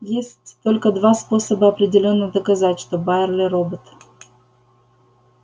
есть только два способа определённо доказать что байерли робот